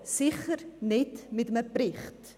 – Sicher nicht mit einem Bericht.